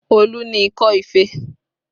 Olu ni ikọ́ ife